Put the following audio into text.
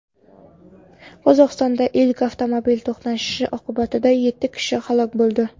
Qozog‘istonda ikki avtomobil to‘qnashishi oqibatida yetti kishi halok bo‘ldi.